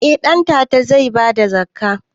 Eh ɗantata zai bada zakka